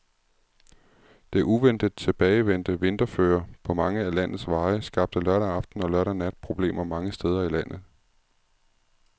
Det uventet tilbagevendte vinterføre på mange af landets veje skabte lørdag aften og lørdag nat problemer mange steder i landet.